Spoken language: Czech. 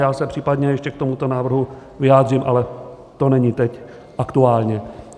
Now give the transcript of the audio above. Já se případně ještě k tomuto návrhu vyjádřím, ale to není teď aktuální.